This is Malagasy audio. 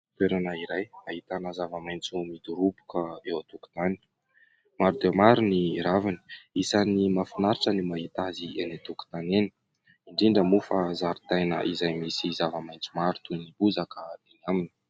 Toerana iray ahitana zava-maitso midoroboka eo an-tokotany, maro dia maro ny raviny isan'ny mahafinaritra ny mahita azy eny an-tokotany eny, indrindra moa fa zaridaina izay misy zava-maitso maro toy ny bozaka eny aminy.